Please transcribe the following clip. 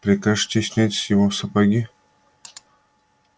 прикажете снять с него сапоги